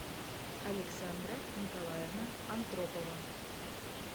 александра николаевна антропова